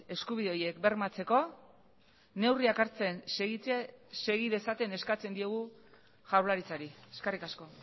eskubide horiek bermatzeko neurriak hartzen segi dezaten eskatzen diegu jaurlaritzari eskerrik asko